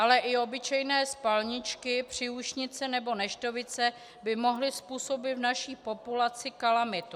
Ale i obyčejné spalničky, příušnice nebo neštovice by mohly způsobit v naší populaci kalamitu.